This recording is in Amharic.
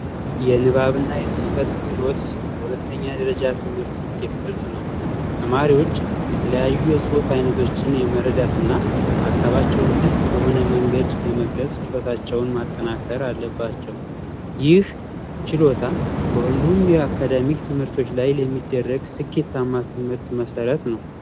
የንባብና የጽህፈት ክህሎት የሁለተኛ ደረጃ ትምህርት ስኬት ነው ተማሪዎች የተለያዩ አይነቶችን የመረዳትና አሰባቸው ግልጽ በሆነ መንገድ የመግለጽ ጨዋታቸውን ማጠናከር አለባቸው ይህ ችሎታ ሁሉም አካዳሚ ትምህርቶች ላይ የሚደረግ ስኬታማ ትምህርት መሠረት ነው